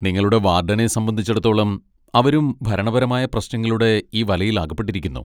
നിങ്ങളുടെ വാർഡനെ സംബന്ധിച്ചിടത്തോളം, അവരും ഭരണപരമായ പ്രശ്നങ്ങളുടെ ഈ വലയിൽ അകപ്പെട്ടിരിക്കുന്നു.